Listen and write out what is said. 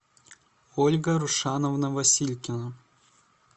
ольга рушановна василькина